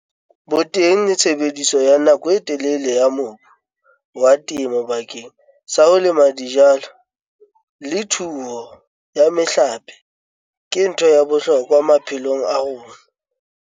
Boteng le tshebediso ya nako e telele ya mobu wa temo bakeng sa ho lema dijalo le thuo ya mehlape ke ntho ya bohlokwa maphelong a rona.